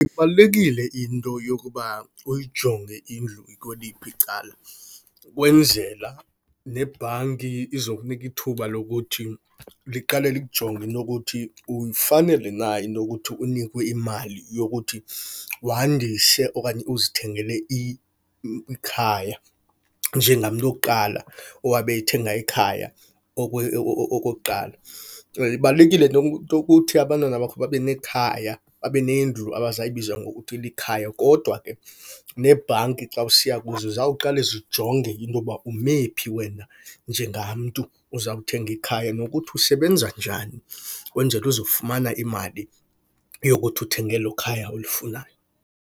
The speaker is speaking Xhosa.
Ibalulekile into yokuba uyijonge indlu ikweliphi icala kwenzela nebhanki izokunika ithuba lokuthi liqale likujonge into yokuthi uyifanele na into yokuthi unikwe imali yokuthi wandise okanye uzithengele ikhaya njengamntu wokuqala owabe ethenga ikhaya okokuqala. Ibalulekile nento yokuthi abantwana bakho babe nekhaya, babe nendlu abazayibiza ngokuthi likhaya. Kodwa ke nebhanki xa usiya kuzo zawuqale zijonge into yokuba umephi wena njengamntu ozawuthenga ikhaya nokuthi usebenza njani, kwenzele uzofumana imali yokuthi uthenge elokhaya ulifunayo.